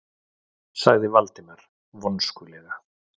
sagði Valdimar vonskulega.